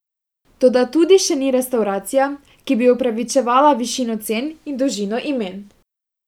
Toda tudi še ni restavracija, ki bi upravičevala višino cen in dolžino imen!